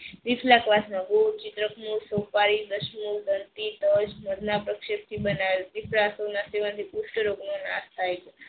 તજ પુસ્થ રોજ નું નાશ થઈ છે.